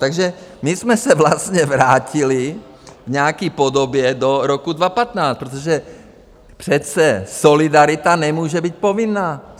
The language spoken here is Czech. Takže my jsme se vlastně vrátili v nějaké podobě do roku 2015, protože přece solidarita nemůže být povinná.